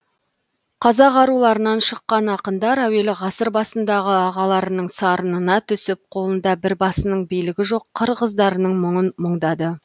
қазақ аруларынан шыққан ақындар әуелі ғасыр басындағы ағаларының сарынына түсіп қолында бір басының билігі жоқ қыр қыздарының мұңын мұңдады